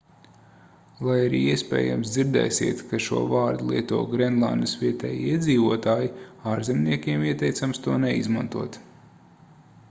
lai arī iespējams dzirdēsiet ka šo vārdu lieto grenlandes vietējie iedzīvotāji ārzemniekiem ieteicams to neizmantot